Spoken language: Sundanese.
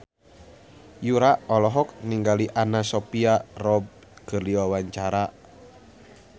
Yura olohok ningali Anna Sophia Robb keur diwawancara